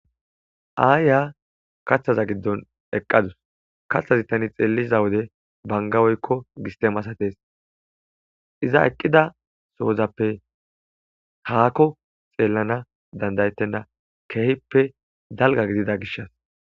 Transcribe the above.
Aaya kaththaza giddon eqqadus katthazi tani xeelliza wode bangaweykko gistemasates iza eqqida soozappe haakko xeellana dandayettenna keehippe dalga gidida gishas.